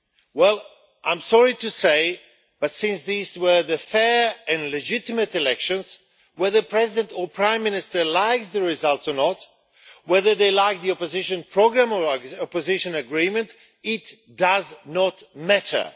Well, I am sorry to say, but since these were fair and legitimate elections, whether the President or Prime Minister likes the results or not, whether they like the opposition programme or opposition agreement or not, it does not matter.